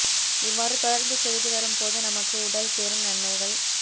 இவ்வாறு தொடர்ந்து செய்து வரும் போது நமது உடல் பெரும் நன்மைகள்